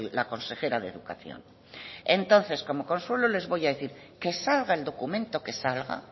la consejera de educación entonces como consuelo les voy a decir que salga el documento que salga